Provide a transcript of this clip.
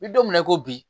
N bi don min na i ko bi